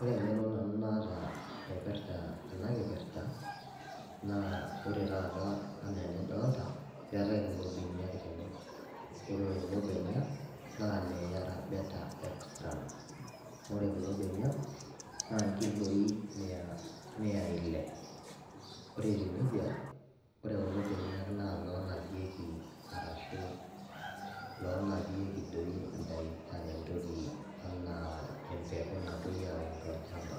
Ore engeno nanu naata naipirta ena kipirta naa ore taata anaa enidolta, keetae kulo benia tene , ore kulo benia naa ile yara bela extran , ore kulo benia naa nkiloi mia , miyai ile , ore etiu nejia naa ore kulo benia naa iloonapieki arashu iloonapieki doi indai, entoki , anaa empeku napuoi aun tolchamba .